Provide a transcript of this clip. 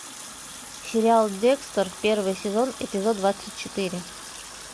сериал декстер первый сезон эпизод двадцать четыре